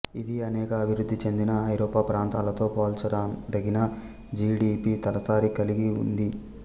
ఇది అనేక అభివృద్ధి చెందిన ఐరోపా ప్రాంతాలతో పోల్చదగిన జి డి పి తలసరి కలిగివుంది